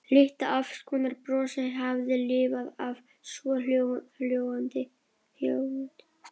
Litla afsökunarbrosið hafði lifað af, svohljóðandi